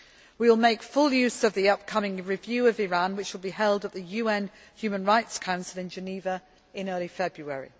We will make full use of the upcoming review of Iran which will be held at the UN Human Rights Council in Geneva in early February.